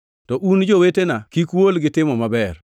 To un, jowetena, kik uol gi timo maber.